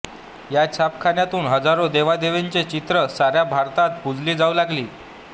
या छापखान्यातून हजारो देवदेवतांची चित्रं साऱ्या भारतभर पूजली जाऊ लागली